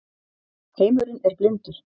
heimurinn er blindur